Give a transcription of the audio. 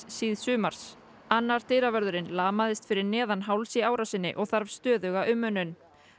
síðsumars annar dyravörðurinn lamaðist fyrir neðan háls í árásinni og þarf stöðuga umönnun